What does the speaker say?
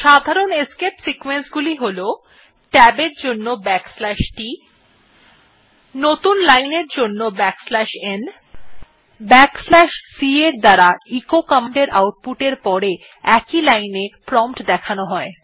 সাধারণ escape sequence গুলি হল ট্যাব এর জন্য t নতুন লাইন এর জন্য n এবং c এসকেপ সিকোয়েন্স এর দ্বারা এচো কমান্ড এর আউট পুট er পরে প্রম্পট একই লাইন এ দেখানো হয়